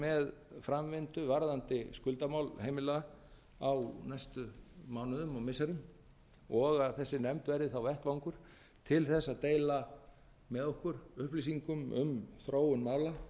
með framvindu varðandi skuldamál heimila á næstu mánuðum og missirum og að þessi nefnd verði þá vettvangur til þess að deila með okkur upplýsingum um þróun